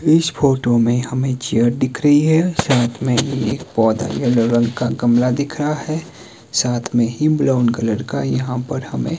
इस फोटो में हमें चेयर दिख रही है साथ में एक पौधा यह येलो रंग का गमला दिख रहा है साथ में ही ब्राउन कलर का यहां पर हमें --